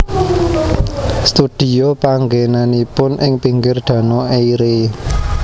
Studio panggènanipun ing pinggir Danau Eire